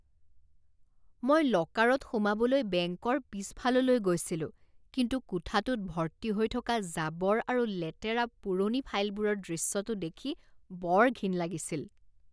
মই লকাৰত সোমাবলৈ বেংকৰ পিছফাললৈ গৈছিলো কিন্তু কোঠাটোত ভৰ্তি হৈ থকা জাবৰ আৰু লেতেৰা পুৰণি ফাইলবোৰৰ দৃশ্যটো দেখি বৰ ঘিণ লাগিছিল।